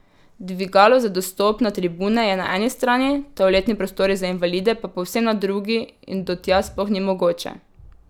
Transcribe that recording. Dvigalo za dostop na tribune je na eni strani, toaletni prostori za invalide pa povsem na drugi in do tja sploh ni mogoče.